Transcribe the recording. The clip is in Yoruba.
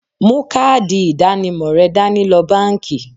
Mú káàdì ìdánimọ̀ rẹ dání lọ báńkì.